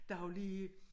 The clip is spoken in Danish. Der har jo lige